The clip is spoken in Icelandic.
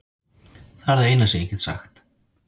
Það er það eina sem ég get sagt.